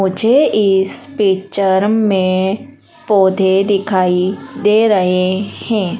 मुझे इस पिक्चर में पौधे दिखाई दे रहे हैं।